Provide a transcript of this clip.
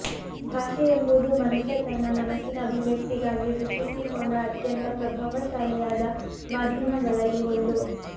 ಭಾಷೆಯೆಂಬುದು ಮನುಷ್ಯ ತನ್ನ ಮನಸ್ಸಿನ ಅಭಿವ್ಯಕ್ತಿಗಾಗಿ ಸೃಷ್ಟಿಸಿಕೊಂಡ ಅತ್ಯಂತ ಪ್ರಭಾವಶಾಲಿಯಾದ ಮಾಧ್ಯಮಗಳಲ್ಲಿ ಒಂದು